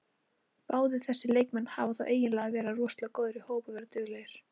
Báðir þessir leikmenn hafa þá eiginleika að vera rosalega góðir í hóp og vera duglegir.